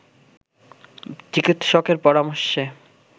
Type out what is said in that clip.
চিকিৎসকের পরামর্শে